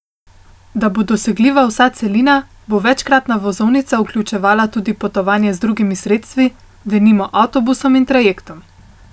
Da bo dosegljiva vsa celina, bo večkratna vozovnica vključevala tudi potovanje z drugimi sredstvi, denimo avtobusom in trajektom.